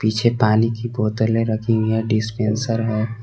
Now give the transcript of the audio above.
पीछे पानी की बोतल रखी हुई है डिस्पेंसर है।